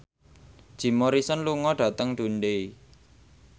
Jim Morrison lunga dhateng Dundee